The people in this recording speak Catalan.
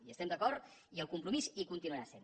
hi estem d’acord i el compromís hi continuarà sent